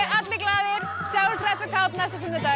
allir glaðir sjáumst hress og kát næsta sunnudag